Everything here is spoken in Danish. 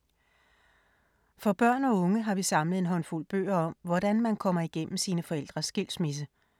For børn og unge har vi samlet en håndfuld bøger om, hvordan man kommer igennem sine forældres skilsmisse.